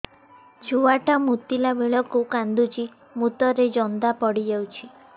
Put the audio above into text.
ଛୁଆ ଟା ମୁତିଲା ବେଳକୁ କାନ୍ଦୁଚି ମୁତ ରେ ଜନ୍ଦା ପଡ଼ି ଯାଉଛି